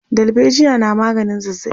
dalbejiya na maganin zazzabi